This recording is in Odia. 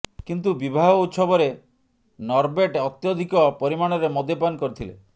କିନ୍ତୁ ବିବାହ ଉତ୍ସବରେ ନରବେଟ ଅତ୍ୟଧିକ ପରିମାଣରେ ମଦ୍ୟପାନ କରିଥିଲେ